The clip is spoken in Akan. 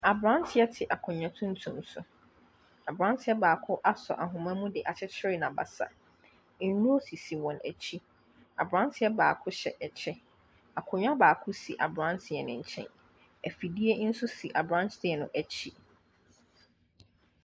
Aberanteɛ te akonnwa tuntum so. Aberanteɛ baako asɔ ahoma mu de akyekyere n'abasa. Nnuro sisi wɔn akyi. Aberanteɛ baako hyɛ kyɛ. Akonnwa baako si aberanteɛ no nkyɛn. Afidie nso si aberanteɛ no akyi.